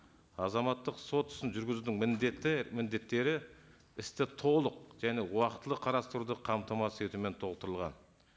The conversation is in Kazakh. азаматтық сот ісін жүргізудің міндеті міндеттері істі толық және уақытылы қарастыруды қамтамасыз етумен толықтырылған